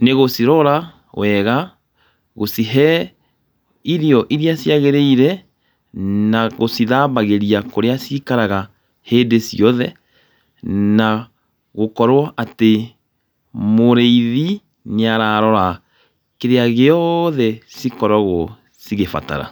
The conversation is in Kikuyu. nĩ gũcirora wega, gũcihe irio irĩa ciagĩrĩire na gũcithambagĩria kũrĩa cikaraga hĩndĩ ciothe. Na gũkorwo atĩ mũrĩithi nĩ ararora kĩrĩa gĩothe cikoragwo cigĩbatara.